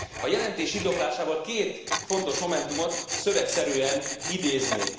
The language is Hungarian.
A jelentés indoklásában két fontos momentumot szövegszerűen idéznék.